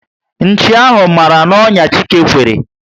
Nchi ahụ mara na onya Chike kwere